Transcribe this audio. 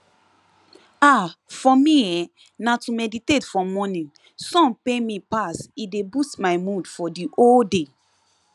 ah for me[um]na to meditate for morning sun pay me pass e dey boost my mood for the whole day